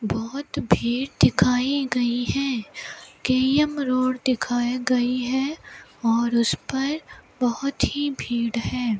बहुत भीड़ दिखाई गई हैं रोड दिखाई गई है और उस पर बहुत ही भीड़ है।